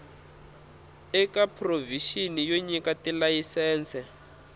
eka provixini yo nyika tilayisense